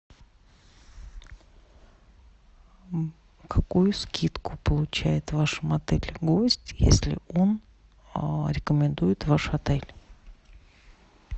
какую скидку получает в вашем отеле гость если он рекомендует ваш отель